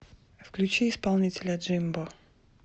включи исполнителя джимбо